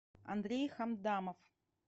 андрей хамдамов